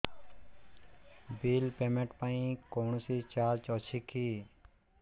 bill payment ପାଇଁ କୌଣସି charge ଅଛି କି